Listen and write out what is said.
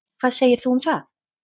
Hvað segir þú um það?